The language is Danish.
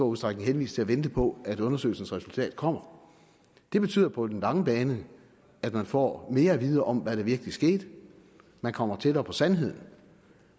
udstrækning henvist til at vente på at undersøgelsens resultat kommer det betyder på den lange bane at man får mere at vide om hvad der virkelig skete man kommer tættere på sandheden